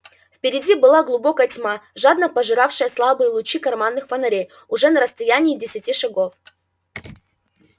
впереди была глубокая тьма жадно пожиравшая слабые лучи карманных фонарей уже на расстоянии десяти шагов